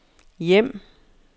hjem